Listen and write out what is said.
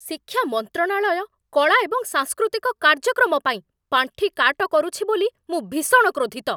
ଶିକ୍ଷା ମନ୍ତ୍ରଣାଳୟ କଳା ଏବଂ ସାଂସ୍କୃତିକ କାର୍ଯ୍ୟକ୍ରମ ପାଇଁ ପାଣ୍ଠି କାଟ କରୁଛି ବୋଲି ମୁଁ ଭୀଷଣ କ୍ରୋଧିତ ।